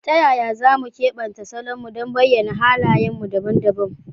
Ta yaya za mu keɓanta salonmu don bayyana halayenmu dabam dabam?